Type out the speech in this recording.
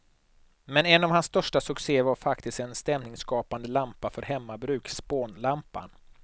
Men en av hans största succéer var faktiskt en stämningsskapande lampa för hemmabruk, spånlampan.